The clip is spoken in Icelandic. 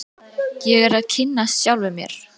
Ég er að kynnast sjálfum mér.